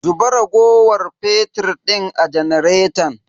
Zuba raguwar fetir din a janaretan.